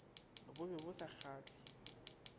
bo be bo sa kgahle